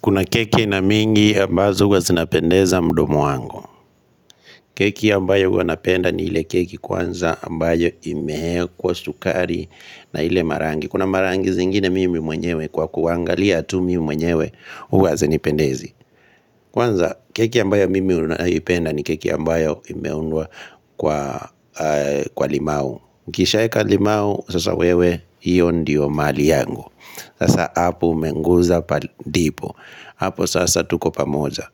Kuna keki na mingi ambazo huwa zinapendeza mdomo wangu Keki ambayo huwa napenda ni ile keki kwanza ambayo imeekwa sukari na ile marangi Kuna marangi zingine mimi mwenyewe kwa kuangalia tu mi mwenyewe huwa hazinipendezi Kwanza keki ambayo mimi unapenda ni keki ambayo imeundwa kwa limau ukishaeka limau sasa wewe hiyo ndiyo mali yangu Sasa hapo umeguza pa dipo Hapo sasa tuko pamoza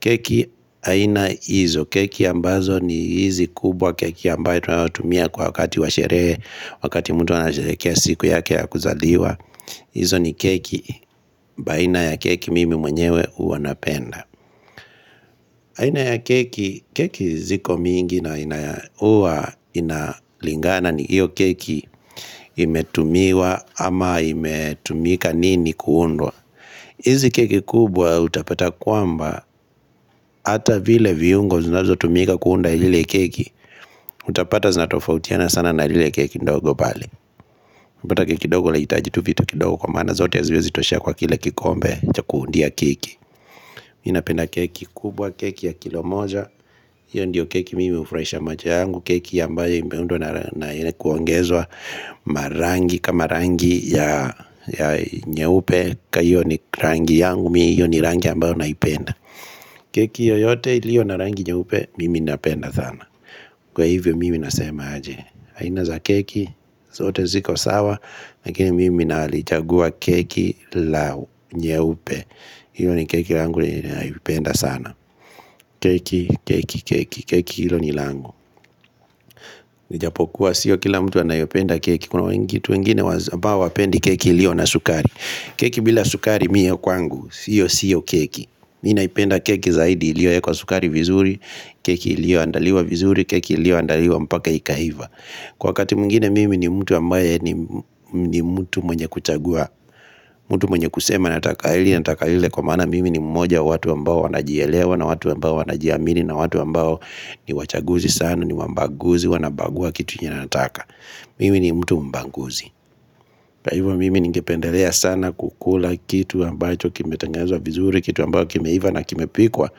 Keki haina hizo Keki ambazo ni hizi kubwa Keki ambayo tumia kwa wakati Washerehe wakati mtu ana sherekea siku yake ya kuzaliwa hizo ni keki baina ya keki mimi mwenyewe huwa napenda aina ya keki Keki ziko mingi na ina huwa inalingana ni hiyo keki imetumiwa ama imetumika nini kuundwa Izi keki kubwa utapata kwamba Hata vile viungo zinazo tumika kuunda ile keki Utapata zinatofautiana sana na ile keki ndogo bali Utapata keki ndogo leijitajitu vito kidogo kwa mana zote ya zivyo zitoshea kwa kile kikombe Ja kuundia keki Minapenda keki kubwa keki ya kilomoja Iyo ndiyo keki mimi ufresha moja yangu Keki ya ambayo imbeundo na kuongezwa Marangi kama rangi ya nyeupe ka hiyo ni rangi yangu Mi ni rangi ambayo naipenda Keki yoyote iliyo na rangi nyeupe Mimi napenda sana Kwa hivyo mimi nasema aje aina za keki zote ziko sawa Lakini mimi nalichagua keki la nyeupe hiyo ni keki langu naipenda sana Keki, keki, keki Keki ilo ni langu ijapokuwa siyo kila mtu anayopenda keki Kuna wengi tu wengine hawapendi keki ilio na sukari Keki bila sukari miyo kwangu Sio, sio keki mi naipenda keki zaidi ilio ya kwa sukari vizuri Keki ilio andaliwa vizuri Keki ilio andaliwa mpaka ikahiva Kwa kati mungine mimi ni mtu ambaye ni mtu mwenye kuchagua mtu mwenye kusema nataka hili nataka hile Kwa mana mimi ni mmoja watu ambao wanajielewa na watu ambao wanajiamini na watu ambao ni wachaguzi sana ni wabaguzi wanabagua kitu nyanataka Mimi ni mtu mbaguzi Kwa hivyo mimi ningependelea sana kukula kitu ambacho Kimetengenezwa vizuri kitu ambao kimeiva na kimepikwa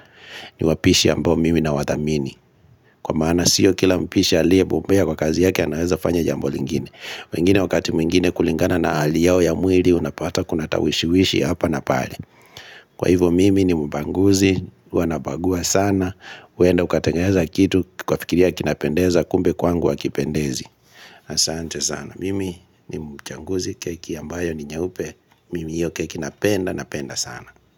ni wapishi ambao mimi na wathamini Kwa maana sio kila mpishi aliyebobea kwa kazi yake anaweza fanya jambo lingine wengine wakati mwingine kulingana na hali yao ya mwili Unapata kunatawishiwishi hapa na pale Kwa hivyo mimi ni mbaguzi huwa nabagua sana uenda ukatengeza kitu ukafikiria kinapendeza Kumbe kwangu hakipendezi na sante sana Mimi ni mchanguzi keki ambayo ni nyaupe Mimi iyo keki napenda napenda sana.